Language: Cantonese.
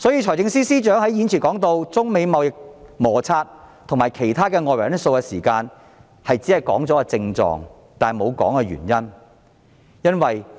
財政司司長在預算案中提到中美貿易摩擦和其他外圍因素時，只是提出症狀，沒有說明原因。